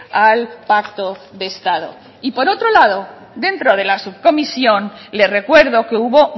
al pacto de estado y por otro lado dentro de la subcomisión le recuerdo que hubo